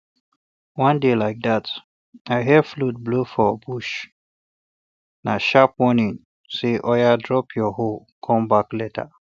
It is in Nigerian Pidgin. one day like dat i hear flute blow for bushna um sharp warning say oya drop ya hoe come back later